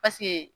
Paseke